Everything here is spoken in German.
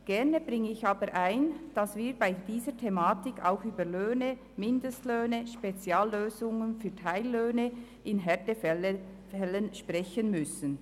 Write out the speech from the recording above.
Gerne bringe ich aber ein, dass wir bei dieser Thematik auch über Löhne, Mindestlöhne und Speziallösungen für Teillöhne in Härtefällen sprechen müssen.